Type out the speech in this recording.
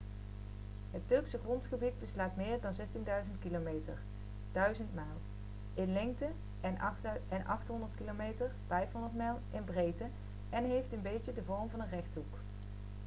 het turkse grondgebied beslaat meer dan 1.600 km 1.000 mijl in lengte en 800 km 500 mijl in breedte en heeft een beetje de vorm van een rechthoek